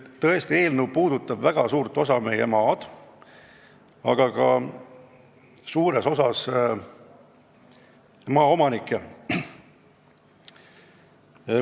Tõesti, see eelnõu puudutab väga suurt osa meie maast ja ka paljusid maaomanikke.